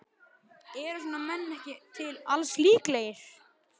Eru svona menn ekki til alls líklegir?